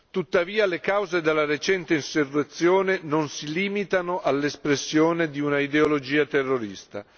Tuttavia, le cause della recente insurrezione non si limitano all'espressione di un'ideologia terrorista.